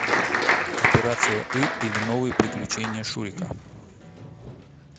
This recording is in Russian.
операция ы или новые приключения шурика